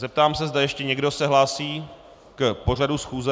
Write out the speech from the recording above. Zeptám se, zda ještě někdo se hlásí k pořadu schůze.